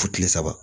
Fo kile saba